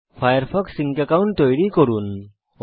Firefox sync account তৈরি করুন